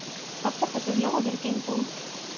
Allar þessar lóðir gengu út.